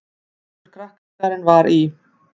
Allur krakkaskarinn var í